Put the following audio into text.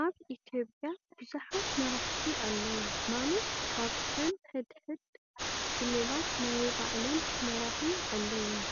ኣብ ኢትዮጰያ ብዙሓት መራሕቲ ኣለው ማለት ካብተን ሕድሕድ ክልላት ናይ ባዕለን መራሒ ኣለወን፣